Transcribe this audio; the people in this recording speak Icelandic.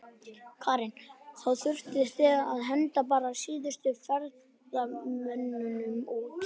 Karen: Þá þurftuð þið að henda bara síðustu ferðamönnunum út?